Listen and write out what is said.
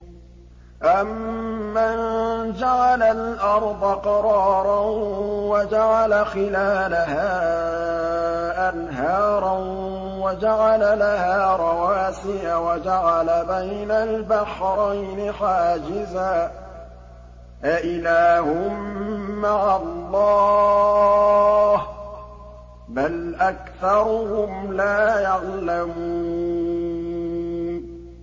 أَمَّن جَعَلَ الْأَرْضَ قَرَارًا وَجَعَلَ خِلَالَهَا أَنْهَارًا وَجَعَلَ لَهَا رَوَاسِيَ وَجَعَلَ بَيْنَ الْبَحْرَيْنِ حَاجِزًا ۗ أَإِلَٰهٌ مَّعَ اللَّهِ ۚ بَلْ أَكْثَرُهُمْ لَا يَعْلَمُونَ